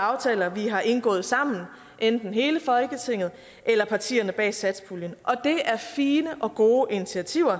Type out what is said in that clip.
aftaler vi har indgået sammen enten hele folketinget eller partierne bag satspuljen og det er fine og gode initiativer